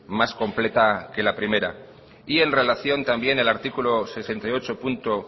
más completa que la primera y en relación también al artículo sesenta y ocho punto